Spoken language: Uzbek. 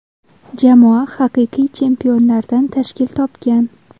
Jamoa haqiqiy chempionlardan tashkil topgan.